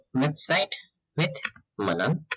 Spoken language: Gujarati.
with site with Manan